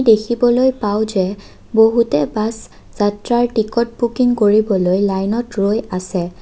দেখিবলৈ পাওঁ যে বহুতে বাছ যাত্ৰাৰ টিকট বুকিং কৰিবলৈ লাইনত ৰৈ আছে।